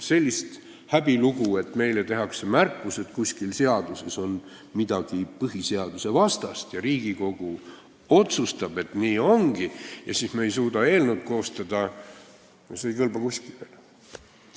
Selline häbilugu, et meile tehakse märkus, et kuskil seaduses on midagi põhiseadusvastast, ja Riigikogu otsustab, et nii ongi, aga siis me ei suuda eelnõu koostada, ei kõlba kuskile.